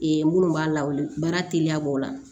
Ee minnu b'a lawale baara teliya b'o la